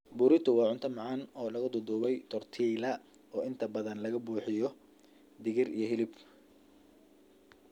Burrito waa cunto macaan oo lagu duudduubay tortilla, oo inta badan laga buuxiyo digir iyo hilib.